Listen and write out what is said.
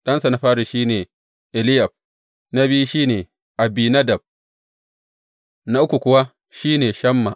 Ɗansa na fari shi ne Eliyab, na biyu shi ne Abinadab, na uku kuwa shi ne Shamma.